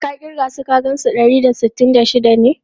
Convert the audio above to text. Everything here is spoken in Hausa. Ka kirga su ka san su dari da sittin da shida ne?